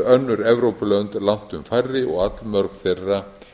önnur evrópulönd langtum færri og